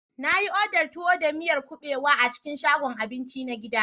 Na yi odar tuwo da miyar kuɓewa a cikin shagon abinci na gida.